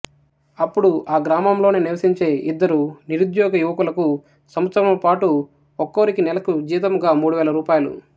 అప్పుడు ఆ గ్రామంలోనే నివసించే ఇద్దరు నిరుద్యోగ యువకులకు సంవత్సరము పాటు ఒక్కోరికి నెలకు జీతంగా మూడు వేల రూ